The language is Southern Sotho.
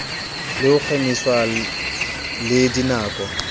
le ho kgemiswa le dinako